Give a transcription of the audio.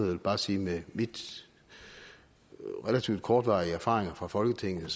vil bare sige med min relativt kortvarige erfaring fra folketinget at